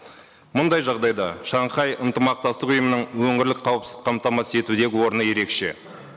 мұндай жағдайда шанхай ынтымақтастық ұйымының өңірлік қауіпсіздік қамтамасыз етудегі орны ерекше